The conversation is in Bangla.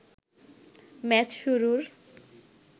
ম্যাচ শুরুর